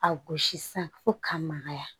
A gosi sisan fo k'a magaya